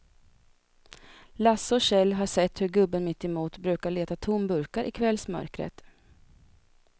Lasse och Kjell har sett hur gubben mittemot brukar leta tomburkar i kvällsmörkret.